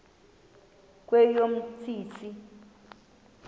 kweyomntsintsi